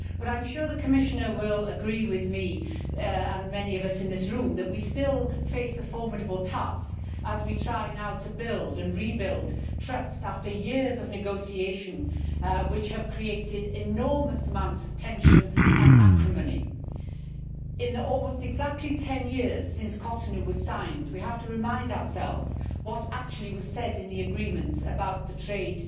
I am sure the Commissioner will agree with me and many of us in this room that we still face a formidable task as we try now to build and rebuild trust after years of negotiation which have created enormous amounts of tension and acrimony. In the almost exactly 10 years since Cotonou was signed, we have to remind ourselves what actually was said in the agreements about the trade